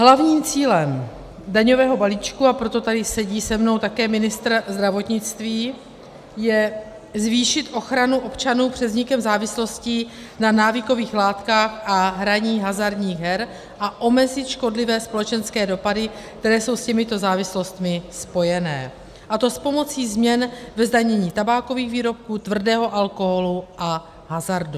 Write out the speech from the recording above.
Hlavním cílem daňového balíčku, a proto tady se mnou sedí také ministr zdravotnictví, je zvýšit ochranu občanů před vznikem závislostí na návykových látkách a hraní hazardních her a omezit škodlivé společenské dopady, které jsou s těmito závislostmi spojené, a to s pomocí změn ve zdanění tabákových výrobků, tvrdého alkoholu a hazardu.